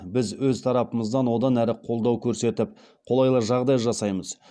біз өз тарапымыздан одан әрі қолдау көрсетіп қолайлы жағдай жасаймыз